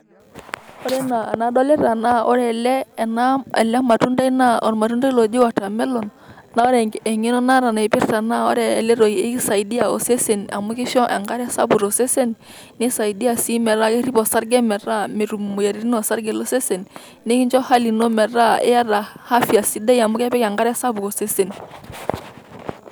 Ore enaa enadolita naa ore ele naa ele ena matundai naa ormatundai oji watermelon ,naa ore engeno naata naipirta naa ore ele toki kisaidia osesen amu kisho enkare sapuk tosesen ,nisaidia si metaa kerip osarge metaa metum imoyiaritin osarge losesen ,nikincho hali ino metaa iyata afya sidai amu kepik enkare sapuk osesen.